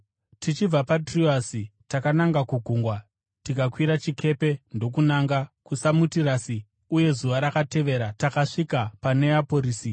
Tichibva paTroasi takananga kugungwa tikakwira chikepe ndokunanga kuSamotirasi, uye zuva rakatevera takasvika paNeaporisi.